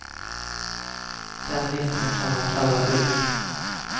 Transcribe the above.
Den listan kan man kalla budget.